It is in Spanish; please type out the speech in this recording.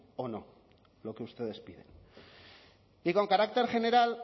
o no lo que ustedes piden y con carácter general